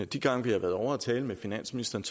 de gange vi har været ovre at tale med finansministeren